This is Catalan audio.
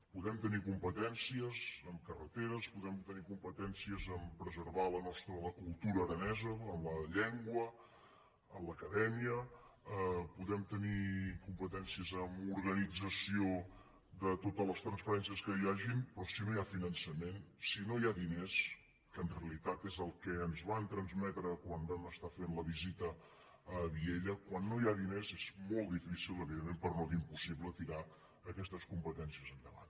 podem tenir competències en carreteres podem tenir competències a preservar la cultura aranesa en la llengua en l’acadèmia podem tenir competències en organització de totes les transferències que hi hagin però si no hi ha finançament si no hi ha diners que en realitat és el que ens van transmetre quan vam estar fent la visita a vielha quan no hi ha diners és molt difícil evidentment per no dir impossible tirar aquestes competències endavant